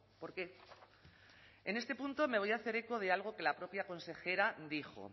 por qué en este punto me voy a hacer eco de algo que la propia consejera dijo